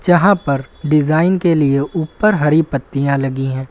जहां पर डिजाइन के लिए ऊपर हरी पत्तियां लगी है।